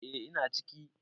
E, ina ciki